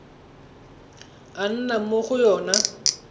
a nnang mo go yona